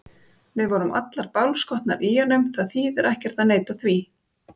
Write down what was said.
Við vorum allar bálskotnar í honum, það þýðir ekkert að neita því.